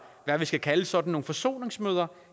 hvad vi skal kalde sådan nogle forsoningsmøder